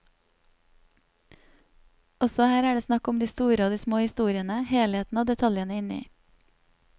Også her er det snakk om de store og de små historiene, helheten og detaljene inni.